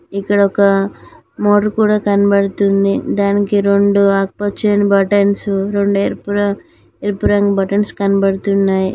ఇక్కడ ఒక మోట్రు కూడా కనబడుతుంది దానికి రెండు ఆకుపచ్చని బటన్సు రెండు ఎరుపు రంగ్ ఎరుపు రంగు బటన్స్ కనపడుతున్నాయి.